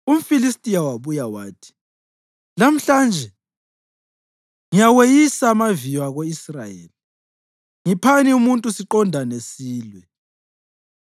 UmFilistiya wabuya wathi, “Lamhlanje ngiyaweyisa amaviyo ako-Israyeli! Ngiphani umuntu siqondane silwe.”